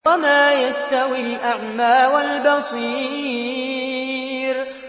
وَمَا يَسْتَوِي الْأَعْمَىٰ وَالْبَصِيرُ